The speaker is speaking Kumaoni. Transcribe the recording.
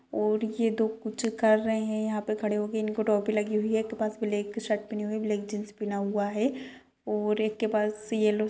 और ये दो कुछ कर रहे हैं यहांँ पे खड़े हो के इनको टोपी लगी हुई है एक के पास ब्लैक शर्ट पहनी हुई है ब्लैक जीन्स पहना हुआ है और एक के पास येल्लो --